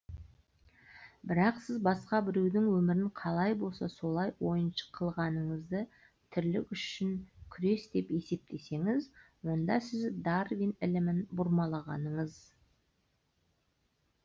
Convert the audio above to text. бірақ сіз басқа біреудің өмірін қалай болса солай ойыншық қылғаныңызды тірлік үшін күрес деп есептесеңіз онда сіз дарвин ілімін бұрмалағаныңыз